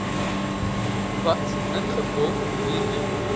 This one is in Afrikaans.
wat ingevolge hierdie